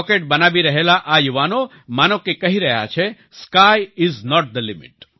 rocket બનાવી રહેલા આ યુવાનો માનો કે કહી રહ્યા છે sky is not the limit